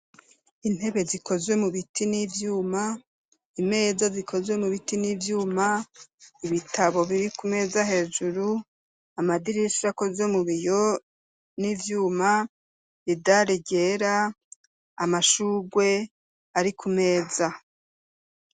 Intebe zikozwe mubiti n'ivyuma , imeza zikozwe mubiti n'ivyuma, ibitabo biri kumeza hejuru, amadirish'akoze mubiyo n'ivyuma, idare ryera , amashurwe ari kumeza.